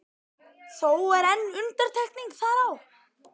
Þó er ein undantekning þar á.